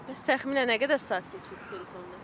Bəs təxminən nə qədər saat keçirsiniz telefonda?